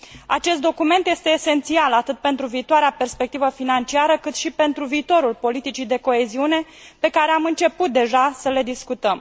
Acest document este esențial atât pentru viitoarea perspectivă financiară, cât și pentru viitorul politicii de coeziune, pe care am început deja să le discutăm.